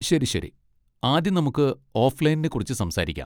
ശരി, ശരി, ആദ്യം നമുക്ക് ഓഫ്ലൈനിനെക്കുറിച്ച് സംസാരിക്കാം.